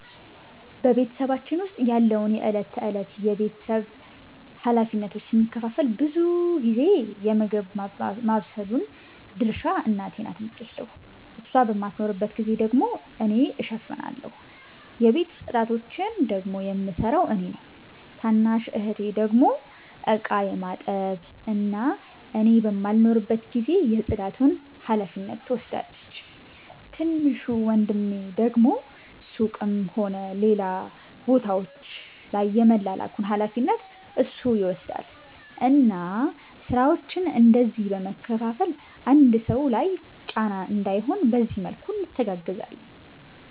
በ ቤተሰባችን ዉስጥ ያለውን የ እለት ተእለት የ ቤተሰብ ሀላፊነቶችን ስንከፋፈል ብዙ ጊዜ የ ምግብ ማባብሰሉን ድርሻ እናቴ ናት የምትወስደው እሷ በማትኖርባት ጊዜ ደግሞ እኔ እሸፍናለሁ። የቤት ፅዳቶቺን ደግሞ የምሰራው እኔ ነኝ። ታናሽ እህቴ ደግሞ እቃ የማጠብ እና እኔ በማልኖርበት ጊዜ የ ፅዳቱን ሀላፊነት ትወስዳለቺ። ትንሹ ወንድሜ ደግሞ ሱቅም ሆነ ሌላ ቦታወች ላይ የመላላኩን ሀላፊነት እሱ ይወስዳል እና ስራወቺን እንደዚህ በ መከፋፈል አንድ ሰው ላይ ጫና እንዳይሆን በዚህ መልኩ እንተጋገዛለን